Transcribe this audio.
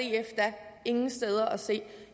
ingen steder at se